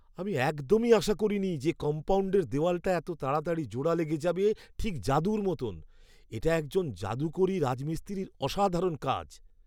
আমি একদমই আশা করিনি যে কম্পাউণ্ডের দেওয়ালটা এত তাড়াতাড়ি জোড়া লেগে যাবে, ঠিক জাদুর মতন! এটা একজন যাদুকরী রাজমিস্ত্রির অসাধারণ কাজ!